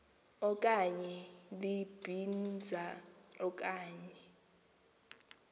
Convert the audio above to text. okanye libinza okanye